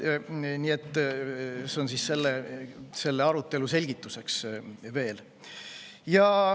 See oli selle arutelu selgituseks.